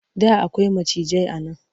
Da akwai macijai a nan.